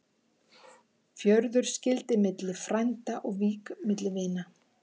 Fjörður skyldi milli frænda og vík milli vina.